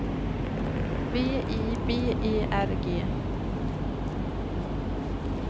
V I B E R G